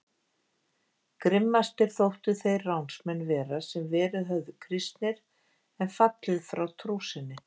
Grimmastir þóttu þeir ránsmenn vera sem verið höfðu kristnir en fallið frá trú sinni.